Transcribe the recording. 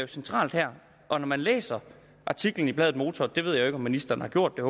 centralt her når man læser artiklen i bladet motor det ved jeg ikke om ministeren har gjort men